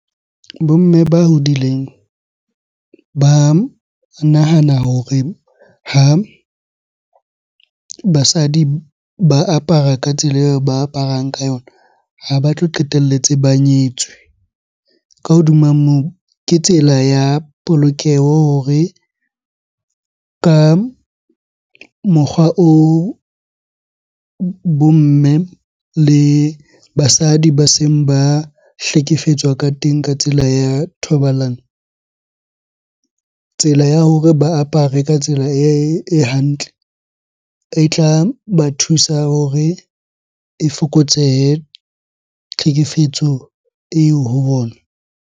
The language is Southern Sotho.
Bo mme ba hodileng ba nahana hore ha basadi ba apara ka tsela eo ba aparang ka yona, ha ba tlo qetelletse ba nyetswe. Ka hodima moo, ke tsela ya polokeho hore ka mokgwa oo bo mme le basadi ba seng ba hlekefetswa ka teng ka tsela ya thobalano. Tsela ya hore ba apare ka tsela e hantle e tla ba thusa hore e fokotsehe tlhekefetso eo ho bona.